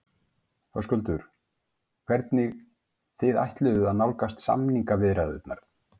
Höskuldur: Hvernig þið ætluðuð að nálgast samningaviðræðurnar?